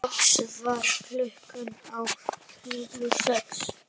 Loks varð klukkan á torginu sex.